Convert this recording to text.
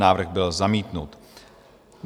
Návrh byl zamítnut.